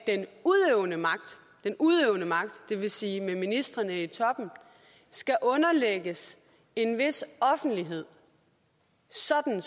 den udøvende magt det vil sige med ministrene i toppen skal underlægges en vis offentlighed sådan at